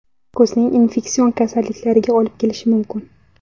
Ko‘zning infeksion kasalliklariga olib kelishi mumkin.